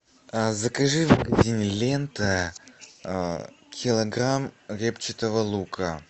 закажи в магазине лента килограмм репчатого лука